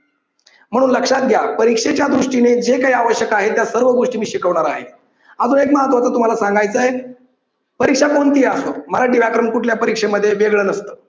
म्हणून लक्षात घ्या परीक्षेच्या दृष्टीने जे काही आवश्यक आहे त्या सर्व गोष्टी मी शिकवणार आहे. अजून एक महत्वाची तुम्हाला सांगायचय परीक्षा कोणतीही असो मराठी व्याकरण कुठल्याही परीक्षेमध्ये वेगळं नसतं.